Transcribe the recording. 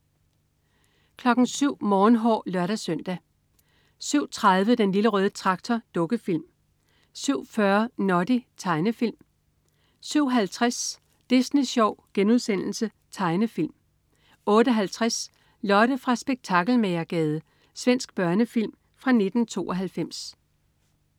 07.00 Morgenhår (lør-søn) 07.30 Den Lille Røde Traktor. Dukkefilm 07.40 Noddy. Tegnefilm 07.50 Disney Sjov.* Tegnefilm 08.50 Lotte fra Spektakelmagergade. Svensk børnefilm fra 1992